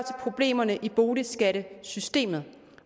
problemerne i boligskattesystemet